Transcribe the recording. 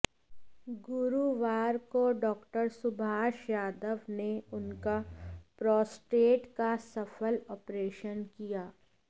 गुरूवार को डा सुभाष यादव ने उनका प्रोस्टेट का सफल आॅपरेशन किया